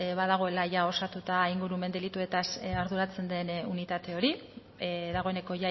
badagoela osatuta ingurumen delituetaz arduratzen den unitate hori dagoeneko